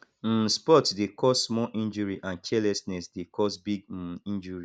um sports de cause small injury and carelessness de cause big um injury